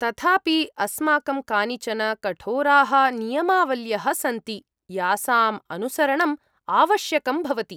तथापि, अस्माकं कानिचन कठोराः नियमावल्यः सन्ति यासाम् अनुसरणम् आवश्यकं भवति।